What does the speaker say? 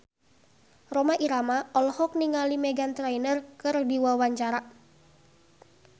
Rhoma Irama olohok ningali Meghan Trainor keur diwawancara